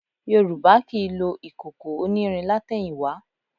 Yorùbá kì í lo ìkòkò onírin látẹ̀yìnwá